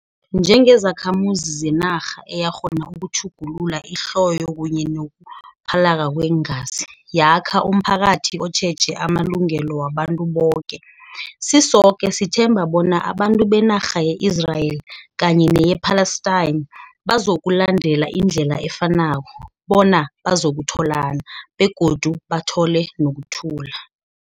Njengezakhamuzi zenarha eyakghona ukutjhugulula ihloyo kunye nokuphalaka kweengazi, yakha umphakathi otjheje amalungelo wabantu boke, sisoke sithemba bona abantu benarha ye-Israel kanye neye-Palestine, bazokulandela indlela efanako, bona bazakutholana, begodu bathole nokuthula.